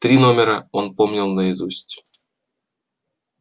три номера он помнил наизусть